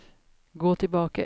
gå tilbake